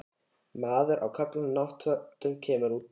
Maður á köflóttum náttfötum kemur út á tröppurnar.